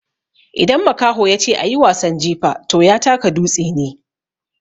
Idan makaho ya ce "a yi wasan jifa" to ya taka dutse ne.